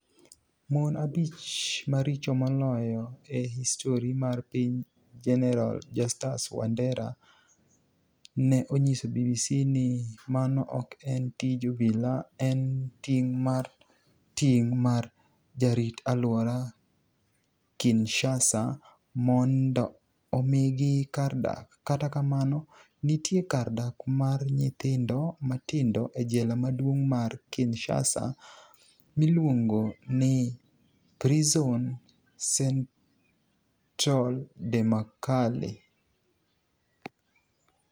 Moni abich maricho moloyo e histori mar piniy Jeni eral Justus Wanidera ni e oniyiso BBC nii mano ok eni tij obila, eni tinig' mar tinig ' mar jarit alwora Kinishasa monido omigi kar dak, kata kamano, niitie kar dak mar niyithinido matinido e jela maduonig' mar Kinishasa miluonigo nii prisoni cenitrale de makala.